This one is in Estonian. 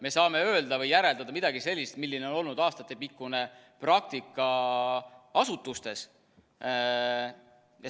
Me saame öelda või järeldada midagi sellist, milline on olnud aastatepikkune praktika asutustes.